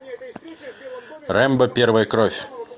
рэмбо первая кровь